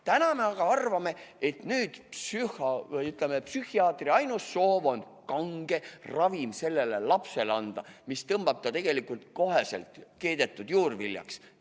Täna me aga arvame, et psühholoogi või, ütleme, psühhiaatri ainus soov on anda lapsele kange ravim, mis muudab ta tegelikult keedetud juurviljaks.